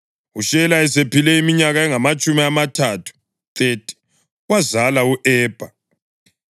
UShela esephile iminyaka engamatshumi amathathu (30) wazala u-Ebha.